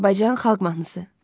Azərbaycan xalq mahnısı.